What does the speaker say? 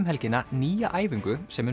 helgina nýja æfingu sem